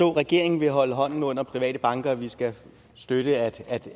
regeringen vil holde hånden under private banker og at vi skal støtte at